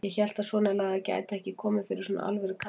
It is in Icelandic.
Ég hélt að svonalagað gæti ekki komið fyrir svona alvöru karlmenn.